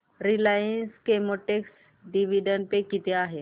Reliance Chemotex dividend pay किती आहे